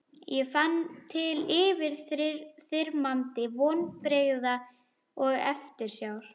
Ég fann til yfirþyrmandi vonbrigða og eftirsjár.